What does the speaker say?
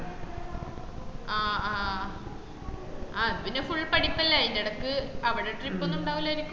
ആഹ് ആ ഇത് പിന്ന full പഠിപ്പല്ലേ അയിന്റെടക്ക് അവട trip ഒന്നും ഉണ്ടാവൂലെയ്ക്കും